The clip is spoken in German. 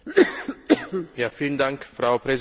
Frau Präsidentin, sehr geehrter Herr Kommissar!